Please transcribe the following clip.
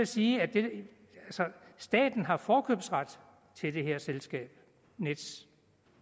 sige at staten har forkøbsret til det her selskab nets